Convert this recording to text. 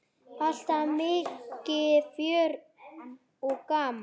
Alltaf mikið fjör og gaman.